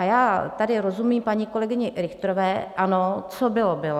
A já tady rozumím paní kolegyni Richterové - ano, co bylo, bylo.